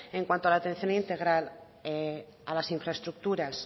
en cuanto a la atención integral a las infraestructuras